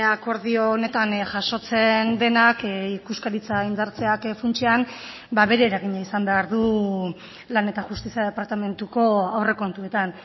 akordio honetan jasotzen denak ikuskaritza indartzeak funtsean bere eragina izan behar du lan eta justizia departamentuko aurrekontuetan